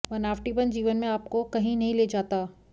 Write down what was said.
बनावटीपन जीवन में आपको कहीं नहीं ले जाता